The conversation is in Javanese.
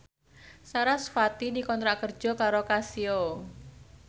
sarasvati dikontrak kerja karo Casio